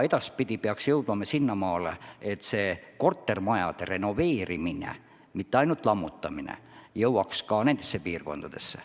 Edaspidi peaksime jõudma sinnamaale, et ka kortermajade renoveerimine, mitte ainult lammutamine, jõuaks nendesse piirkondadesse.